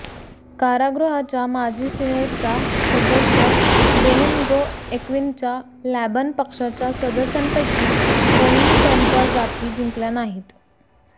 कारागृहाच्या माजी सिनेटचा सदस्य बेनिनगो ऍक्विनच्या लॅबॅन पक्षाच्या सदस्यांपैकी कोणीही त्यांच्या जाती जिंकल्या नाहीत